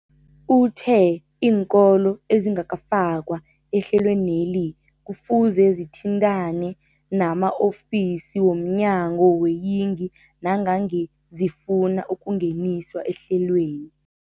Uthe iinkolo ezingakafakwa ehlelweneli kufuze zithintane nama-ofisi wo mnyango weeyingi nangange zifuna ukungeniswa ehlelweni.